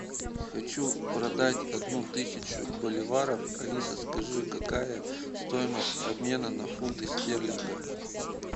хочу продать одну тысячу боливаров алиса скажи какая стоимость обмена на фунты стерлинга